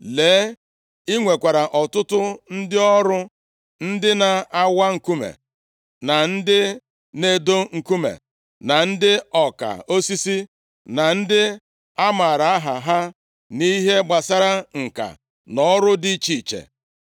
Lee, i nwekwara ọtụtụ ndị ọrụ ndị na-awa nkume, na ndị na-edo nkume, na ndị ọka osisi, na ndị a maara aha ha nʼihe gbasara ǹka nʼọrụ dị iche iche,